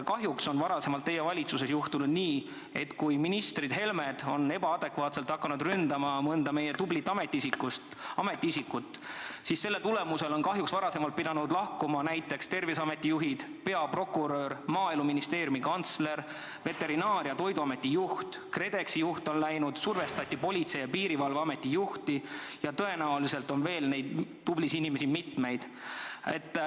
Kahjuks on varasemalt teie valitsuses juhtunud nii, et kui ministrid Helmed on hakanud ebaadekvaatselt ründama mõnda meie tublit ametiisikut, siis selle tagajärjel on kahjuks pidanud lahkuma näiteks Terviseameti juhid, peaprokurör, Maaeluministeeriumi kantsler, Veterinaar- ja Toiduameti juht, KredExi juht on läinud, survestati Politsei- ja Piirivalveameti juhti ning tõenäoliselt on neid tublisid inimesi veel.